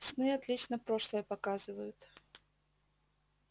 сны отлично прошлое показывают